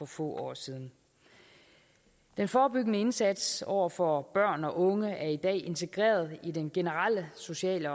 få år siden den forebyggende indsats over for børn og unge er i dag integreret i den generelle sociale